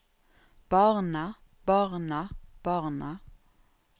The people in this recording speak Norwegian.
barna barna barna